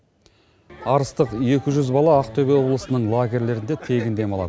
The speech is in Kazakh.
арыстық екі жүз бала ақтөбе облысының легерьлерінде тегін демалады